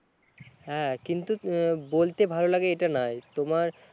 হ্যাঁ কিন্তু আহ বলতে ভালো লাগে এটা না তোমার